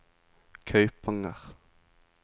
Kaupanger